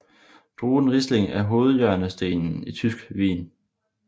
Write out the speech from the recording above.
Druen riesling er hovedhjørnestenen i tysk vin